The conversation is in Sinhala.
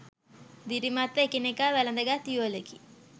දිරිමත්ව එකිනෙකා වැලඳ ගත් යුවලකි